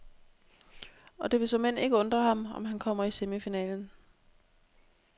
Og det vil såmænd ikke undre ham, om han kommer i semifinalen.